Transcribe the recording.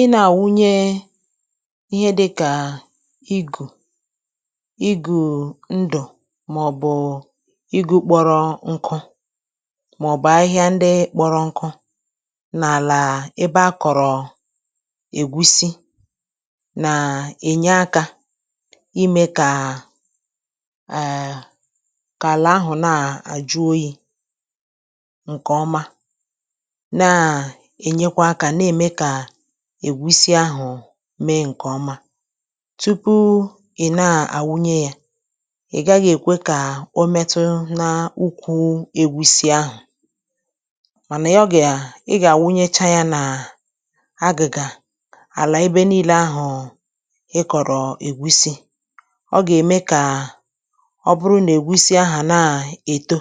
ị nā-àwụnye ihe dịkà igù igù ndù màọbụ̀ igū kpọrọ nkū màọbụ̀ ahịhịa ndị kpọrọ nkū n’àlà ebe a kọ̀rọ̀ ègusi nà-ènye akā imē kà eeee kà àlà ahụ̀ na-àjụ oyī ǹkè ọma na ènyekwa akā na-ème kà ègusi ahụ̀ mee ǹkè ọma tupu ị̀ na-àwụnye ya ị̀ gaghị èkwe kà o metu n’ukwu ègusi ahụ̀ mànà ya gà ị gà-àwunyecha yā nà agị̀gà àlà ebe niile ahụ̀ ịkọ̀rọ̀ ègusi ọ gà-ème kà ọ bụrụ nà ègusi aghà na-èto